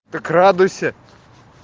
так радуйся